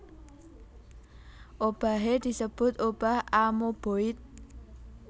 Obahé disebut obah amoeboid